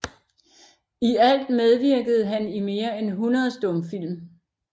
I alt medvirkede han i mere end 100 stumfilm